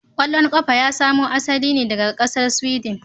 Kwallon kafa ya samo asali ne daga kasar Sweden.